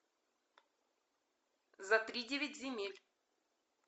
за тридевять земель